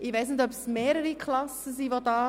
Ich weiss nicht, ob mehrere Klassen anwesend sind.